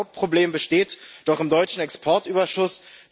Und ein Hauptproblem besteht doch am deutschen Exportüberschuss.